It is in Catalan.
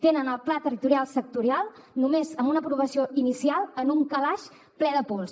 tenen el pla territorial sectorial només amb una aprovació inicial en un calaix ple de pols